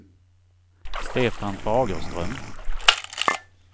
Stefan Fagerström